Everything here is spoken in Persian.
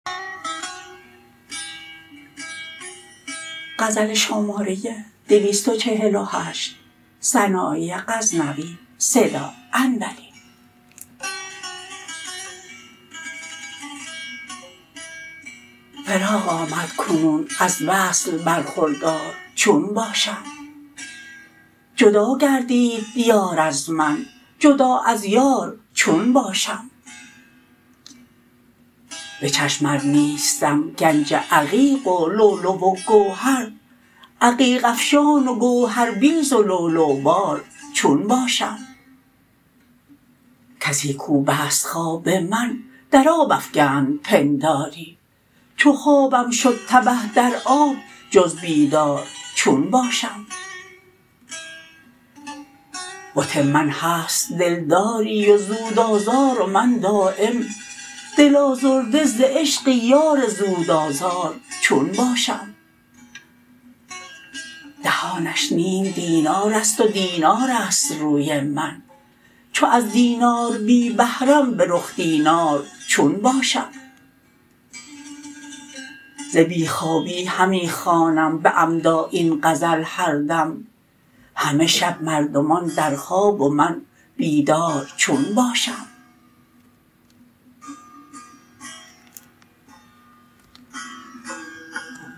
فراق آمد کنون از وصل برخوردار چون باشم جدا گردید یار از من جدا از یار چون باشم به چشم ار نیستم گنج عقیق و لولو و گوهر عقیق افشان و گوهربیز و لولوبار چون باشم کسی کوبست خواب من در آب افگند پنداری چو خوابم شد تبه در آب جز بیدار چون باشم بت من هست دلداری و زود آزار و من دایم دل آزرده ز عشق یار زود آزار چون باشم دهانش نیم دینارست و دینارست روی من چو از دینار بی بهرم به رخ دینار چون باشم ز بی خوابی همی خوانم به عمدا این غزل هردم همه شب مردمان در خواب و من بیدار چون باشم